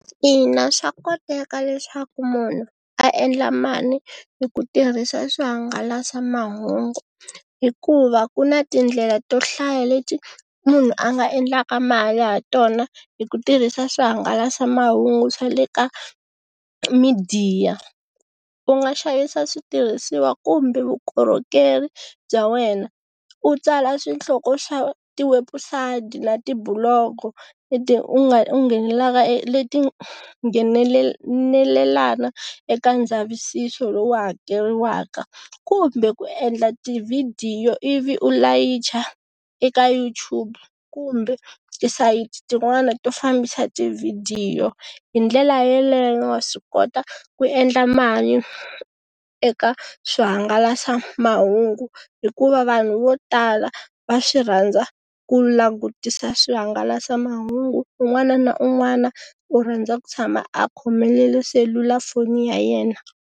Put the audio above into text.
Ina swa koteka leswaku munhu a endla mali hi ku tirhisa swihangalasamahungu hikuva ku na tindlela to hlaya leti munhu a nga endlaka mali ha tona hi ku tirhisa swihangalasamahungu swa le ka midiya, u nga xavisa switirhisiwa kumbe vukorhokeri bya wena, u tsala swihloko swa ti webusati na tibuloko leti u nga u nghenelelaka leti nghenelelana eka ndzavisiso lowu hakeriwaka kumbe ku endla tivhidiyo i vi u layicha eka Yout] Tube kumbe tisayiti tin'wana to fambisa tivhidiyo. Hi ndlela yeleyo wa swi kota ku endla mali eka swihangalasamahungu hikuva vanhu vo tala va swi rhandza ku langutisa swihangalasamahungu, un'wana na un'wana u rhandza ku tshama a khomelele selulafoni ya yena.